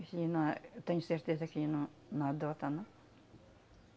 eu tenho certeza que ele não não adota, não.